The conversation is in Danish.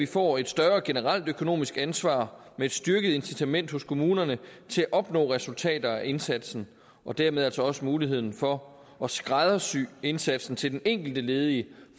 får et større generelt økonomisk ansvar med et styrket incitament hos kommunerne til at opnå resultater af indsatsen og dermed altså også muligheden for at skræddersy indsatsen til den enkelte ledige